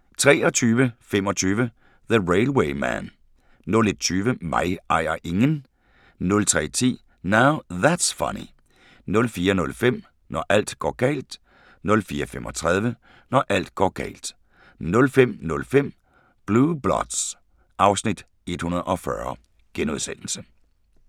23:25: The Railway Man 01:20: Mig ejer ingen 03:10: Now That's Funny 04:05: Når alt går galt 04:35: Når alt går galt 05:05: Blue Bloods (Afs. 140)*